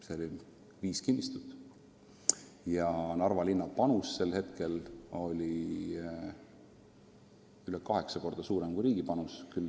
See oli viis kinnistut ja Narva linna panus oli sel hetkel rohkem kui kaheksa korda suurem kui riigi panus.